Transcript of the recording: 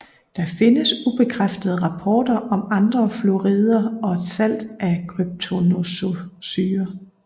Der findes ubekræftede rapporter om andre fluorider og et salt af kryptonoxosyre